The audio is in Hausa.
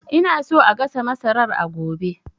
Ina so a gasa masarar a gobe